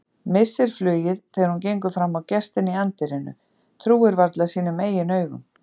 Missir flugið þegar hún gengur fram á gestinn í anddyrinu, trúir varla sínum eigin augum.